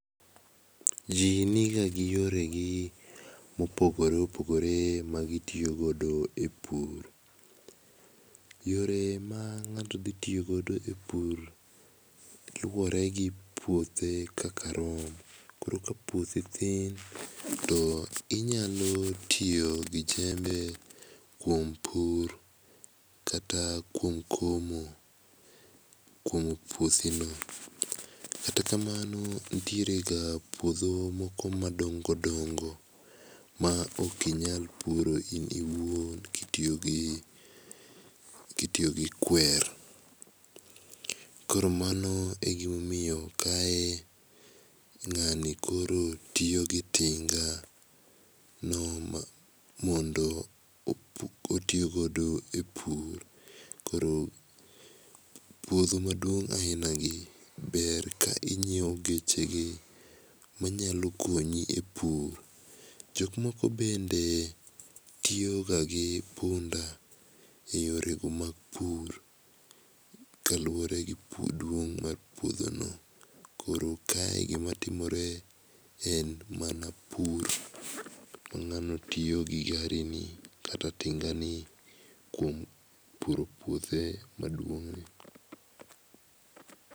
Jii nigagi yoregi mopogore opogore ma gitio godo e pur. Yore ma ng'ato dhitiyo godo e pur luore gi puothe kaka rom. Koro ka puothi thin, toinyalotiyo gi jembe kuom pur kata kuom komo, komo puothino. Kata kamano ntierega puodho moko madongodongo ma okinyal puro in iwuon kitiyo gi, kitiyo gi kuer. Koromano e gimomiyo kae ng'ani koro tiyogi tingano mondo, otiyogodo e pur. Koro puodho maduong' ainagi ber ka inyiewo geche gi manyalo konyi e pur. Jokmoko bende tiyoga gi punda e yorego mag pur kaluore gi duong' mar puodhono. Koro kae gima timore en mana pur mang'ano tiyogi gari ni kata tingani kuom puro puothe maduong'ni.